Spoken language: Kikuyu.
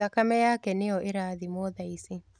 Thakame yake nĩyo ĩrathimwo thaici.